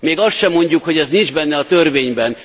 Még azt se mondjuk, hogy ez nincs benne a törvényben!